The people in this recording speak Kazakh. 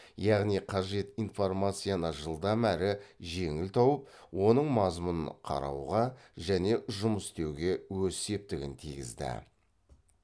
яғни қажет информацияны жылдам әрі жеңіл тауып оның мазмұнын қарауға және жұмыс істеуге өз септігін тигізді